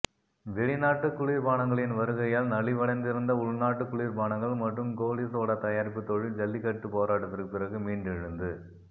வெளிநாட்டு குளிர்பானங்களின் வருகையால் நலிவடைந்திருந்த உள்நாட்டு குளிர்பானங்கள் மற்றும் கோலிசோடா தயாரிப்புத் தொழில் ஜல்லிக்கட்டுப் போராட்டத்திற்கு பிறகு மீண்டெழுந்து